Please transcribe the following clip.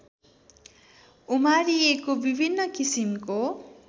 उमारिएको विभिन्न किसिमको